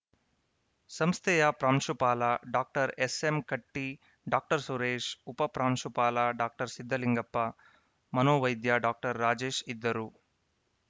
ಸಂಸ್ಥೆಯ ಪ್ರಾಂಶುಪಾಲ doctor S M Katti doctor Suresh ಉಪಪ್ರಾಂಶುಪಾಲ ಡಾಕ್ಟರ್ ಸಿದ್ದಲಿಂಗಪ್ಪ ಮನೋವೈದ್ಯ ಡಾಕ್ಟರ್ ರಾಜೇಶ್‌ ಇದ್ದರು